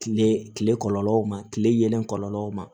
Kile kile kɔlɔlɔw ma kile yelen kɔlɔlɔw ma